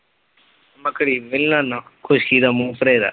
ਮੈ cream ਵੀ ਨੀ ਲਾਨਾ, ਖੁਸ਼ਕੀ ਦਾ ਮੂੰਹ ਭਰੇਦਾ।